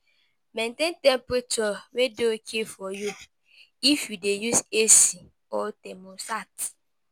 Maintain temperature wey dey okay for you, if you dey use AC or thermostat